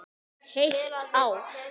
Heilt ár.